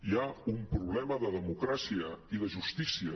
hi ha un problema de demo·cràcia i de justícia